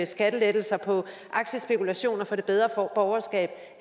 skattelettelser for aktiespekulation til det bedre borgerskab